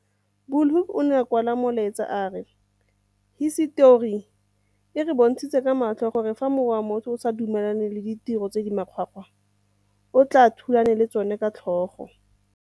Bu lhoek o ne a kwala molaetsa a re, Hisetori e re bontshitse ka matlho gore fa mowa wa motho o sa dumelane le ditiro tse di makgwakgwa o a tle o thulane le tsona ka tlhogo.